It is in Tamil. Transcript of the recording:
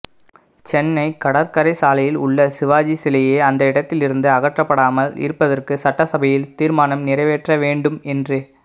சென்னை கடற்கரை சாலையில் உள்ள சிவாஜி சிலையை அந்த இடத்திலிருந்து அகற்றக்கப்படாமல் இருப்பதற்கு சட்டசபையில் தீர்மானம் நிறைவேற்றவேண்டும் என்று